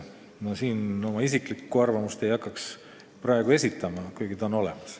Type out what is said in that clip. Ma oma isiklikku arvamust ei hakkaks praegu esitama, kuigi see on olemas.